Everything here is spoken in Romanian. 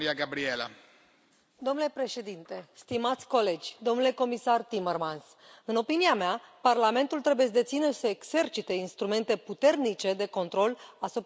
Domnule președinte, stimați colegi, domnule comisar Timmermans, în opinia mea, Parlamentul trebuie să dețină, să exercite instrumente puternice de control asupra Comisiei Europene.